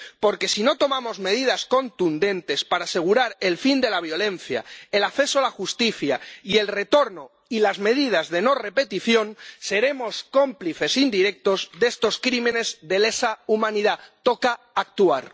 Porque, si no tomamos medidas contundentes para asegurar el fin de la violencia, el acceso a la justicia y el retorno y las medidas de no repetición, seremos cómplices indirectos de estos crímenes de lesa humanidad. Toca actuar.